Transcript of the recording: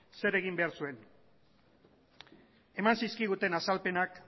zer egin behar zuen eman zizkiguten azalpenak